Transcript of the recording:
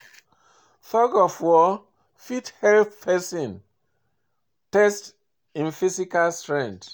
Thug of war fit help person test im physical strengtrh